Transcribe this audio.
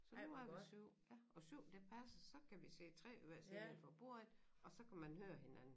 Så nu er vi 7 ja og 7 det passer så kan vi sidde 3 ved hver side 1 for bordenden og så kan man høre hinanden